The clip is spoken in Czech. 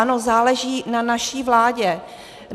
Ano, záleží na naší vládě.